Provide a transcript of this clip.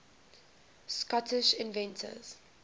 scottish inventors